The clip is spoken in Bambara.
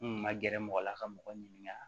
N kun ma gɛrɛ mɔgɔ la ka mɔgɔ ɲininka